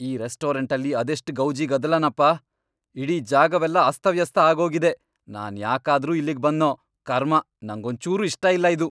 ಈ ರೆಸ್ಟೋರೆಂಟಲ್ಲಿ ಅದೆಷ್ಟ್ ಗೌಜಿ ಗದ್ದಲನಪ.. ಇಡೀ ಜಾಗವೆಲ್ಲ ಅಸ್ತವ್ಯಸ್ತ ಆಗೋಗಿದೆ, ನಾನ್ ಯಾಕಾದ್ರೂ ಇಲ್ಲಿಗ್ ಬಂದ್ನೋ.. ಕರ್ಮ, ನಂಗೊಂಚೂರೂ ಇಷ್ಟ ಇಲ್ಲ ಇದು.